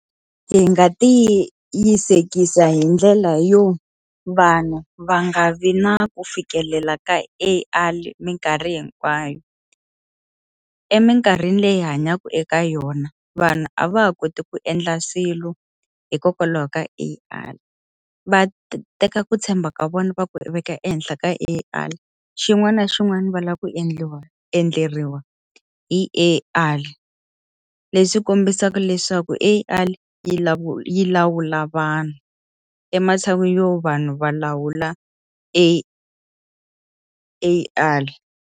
Hi nga tiyisekisa hi ndlela yo vanhu va nga vi na ku fikelela ka A_I minkarhi hinkwayo. Eminkarhini leyi hi hanyaka eka yona, vanhu a va ha koti ku endla swilo hikokwalaho ka A_I. Va teka ku tshemba ka vona va ku veka ehenhla ka A_I, xin'wana na xin'wana va lava ku endleriwa hi A_I. Leswi ku kombisa leswaku A_I yi yi lawula vanhu, ematshan'wini yo vanhu va lawula A_I.